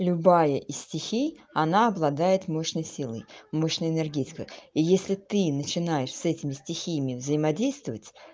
любая из стихий она обладает мощной силой мощной энергетикой и если ты начинаешь с этими стихиями взаимодействовать